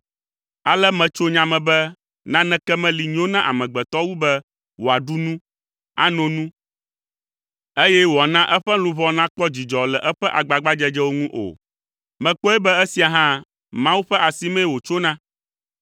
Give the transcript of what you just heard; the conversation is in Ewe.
Ale metso nya me be naneke meli si nyo na amegbetɔ wu be wòaɖu nu, ano nu eye wòana eƒe luʋɔ nakpɔ dzidzɔ le eƒe agbagbadzedzewo ŋu o. Mekpɔe be esia hã, Mawu ƒe asimee wòtsona,